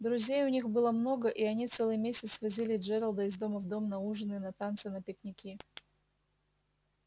друзей у них было много и они целый месяц возили джералда из дома в дом на ужины на танцы на пикники